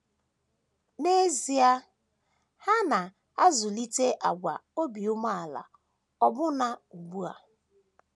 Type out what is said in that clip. N’ezie, ha na - azụlite àgwà obi umeala ọbụna ugbu a.